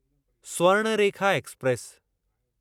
Swarnarekha express